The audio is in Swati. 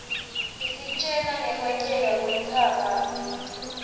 isitjela ngkwenteka kwentsaba mlilo